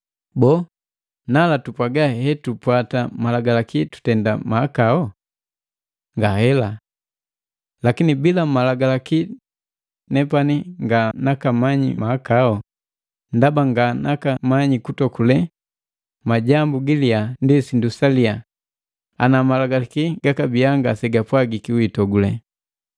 Boo, nala tupwaga hetupwata Malagalaki tutenda mahakau? Ngahela! Lakini bila Malagalaki nepani nga nakamanyi mahakao. Ndaba nganaka manyi kutokule majambu gilyaa ndi sindu salia, ana Malagalaki egakabii ngase gapwagiki, “Wiitokule.”